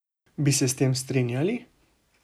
Bi se s tem strinjali?